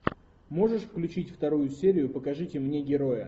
можешь включить вторую серию покажите мне героя